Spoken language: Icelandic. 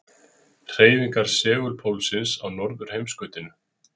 Hreyfingar segulpólsins á norðurheimskautinu.